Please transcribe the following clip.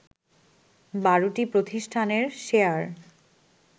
১২টি প্রতিষ্ঠানের শেয়ার